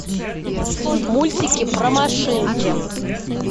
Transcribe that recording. мультики про машинки